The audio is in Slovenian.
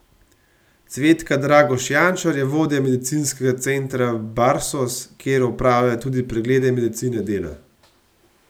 Cvetka Dragoš Jančar je vodja medicinskega centra Barsos, kjer opravljajo tudi preglede medicine dela.